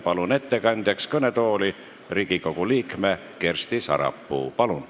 Palun ettekandeks kõnetooli Riigikogu liikme Kersti Sarapuu!